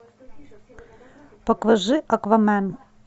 покажи аквамен